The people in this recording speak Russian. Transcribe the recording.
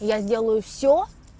я сделаю всё